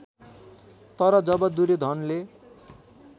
तर जब दुर्योधनले